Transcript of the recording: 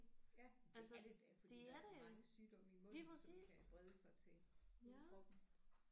Ja det er det da fordi der er da mange sygdomme i munden som kan brede sig til hele kroppen